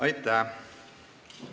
Aitäh!